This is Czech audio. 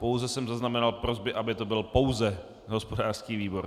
Pouze jsem zaznamenal prosby, aby to byl pouze hospodářský výbor.